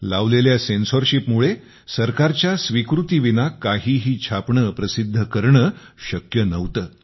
लावलेल्या सेन्सॉरशिपमुळे सरकारच्या स्वीकृतीविना काहीही छापणे प्रसिद्ध करणे शक्य नव्हते